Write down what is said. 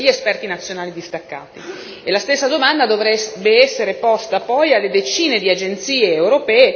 Questo discorso dovrebbe applicarsi a tutti i profili professionali, includendo gli agenti temporanei e gli esperti nazionali distaccati.